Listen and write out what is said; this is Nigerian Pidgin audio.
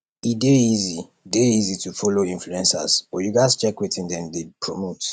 e dey easy dey easy to follow influencers but you gatz check wetin dem dey promote